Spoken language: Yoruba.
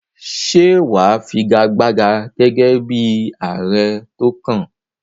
Ṣé wà á figagbága gẹ́gẹ́ bí ààrẹ tó kàn?